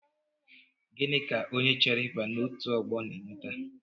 Gịnị ka onye chọrọ ịba n'otu ọgbọ n'eweta?